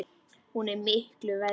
Hún er miklu verri!